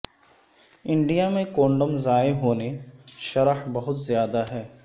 India میں condom ضائع ہونے شرح بہت زیادہ ہے